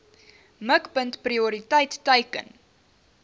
mikpunt prioriteit teiken